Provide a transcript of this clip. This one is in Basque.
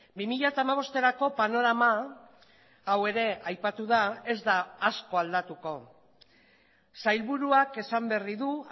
bi mila hamabosterako panorama hau ere aipatu da ez da asko aldatuko sailburuak esan berri du